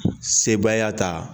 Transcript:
Sebaya ta